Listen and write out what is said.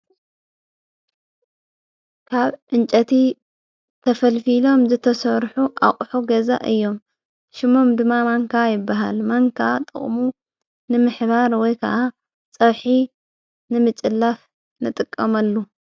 ካብ እንጨቲ ተፈልፊሎም ዝተሠርሑ ኣቝሑ ገዛ እዮም ሽሙም ድማ ማንካ ይበሃል ማንካ ጥቕሙ ንምሕባር ወይ ከዓ ጸውሒ ንምጭላፍ ንጥቀምሉ።